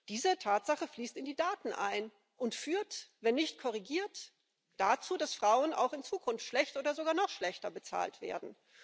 Diese Tatsache fließt in die Daten ein und führt wenn nicht korrigiert dazu, dass Frauen auch in Zukunft schlecht oder sogar noch schlechter bezahlt werden.